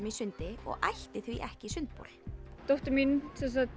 í sundi og ætti því ekki sundbol dóttir mín